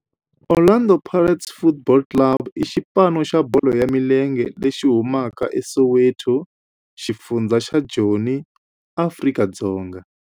Orlando Pirates Football Club i xipano xa bolo ya milenge lexi humaka eSoweto, xifundzha xa Joni, Afrika-Dzonga.